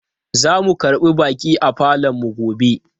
Zamu karbi baƙi a falonmu gobe.